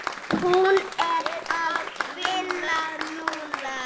Hún er að vinna núna.